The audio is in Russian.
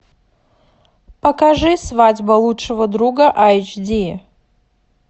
покажи свадьба лучшего друга айч ди